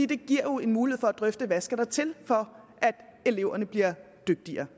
det giver jo en mulighed for at drøfte hvad der skal til for at eleverne bliver dygtigere